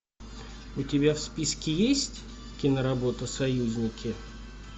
у тебя в списке есть киноработа союзники